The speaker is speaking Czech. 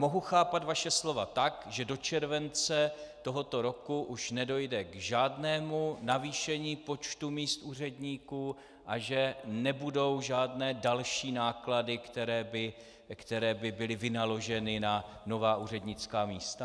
Mohu chápat vaše slova tak, že do července tohoto roku už nedojde k žádnému navýšení počtu míst úředníků a že nebudou žádné další náklady, které by byly vynaloženy na nová úřednická místa?